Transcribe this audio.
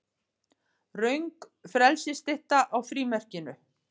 Röng frelsisstytta á frímerkinu